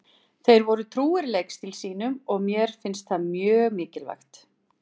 Þeir voru trúir leikstíl sínum og mér finnst það mjög mikilvægt.